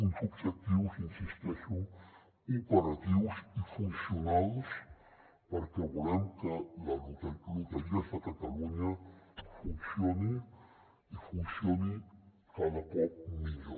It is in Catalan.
uns objectius hi insisteixo operatius i funcionals perquè volem que loteries de catalunya funcioni i funcioni cada cop millor